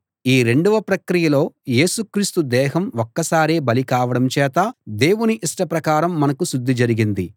ఈ రెండవ ప్రక్రియలో యేసు క్రీస్తు దేహం ఒక్కసారే బలి కావడం చేత దేవుని ఇష్ట ప్రకారం మనకు శుద్ధి జరిగింది